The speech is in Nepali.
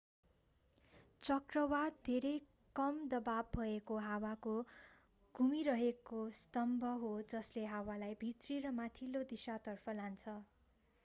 चक्रवात धेरै कम दबाव भएको हावाको घुमिरहेको स्तम्भ हो जसले हावालाई भित्री र माथिल्लो दिशातर्फ तान्छ